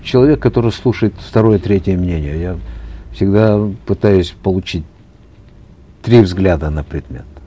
человек который слушает второе третье мнение я всегда пытаюсь получить три взгляда на предмет